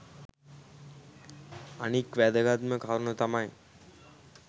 අනික් වැදගත්ම කරුණ තමයි